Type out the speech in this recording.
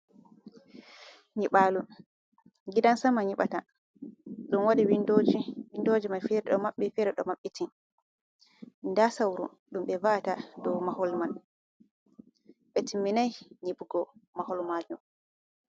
Nyibalo gidan sama nyibata, ɗum waɗi windoji, windoji mai fere ɗo maɓɓi fere ɗo maɓɓiti, nda sauru ɗum ɓe va’ata dow mahol man ɓe timminai nyibugo mahol majom.